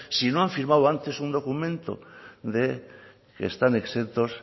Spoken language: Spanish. si no han firmado antes un documento de que están exentos